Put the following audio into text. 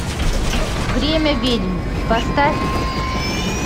время ведьм поставь